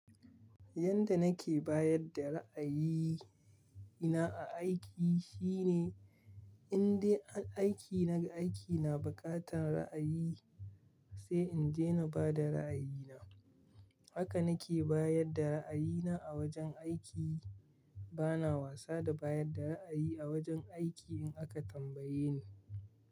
Yanda nake bayar da ra'ayina a aiki shine, indai aiki naga aiki na buƙatar ra'ayi sai in je na bada ra'ayina. Haka nake bayar da ra'ayina a wajen aiki. Bana wasa da bayar da ra'ayi a wajen aiki in aka tambaye ni.